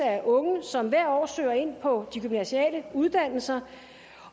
af unge som hvert år søger ind på de gymnasiale uddannelser